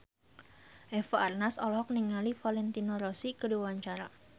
Eva Arnaz olohok ningali Valentino Rossi keur diwawancara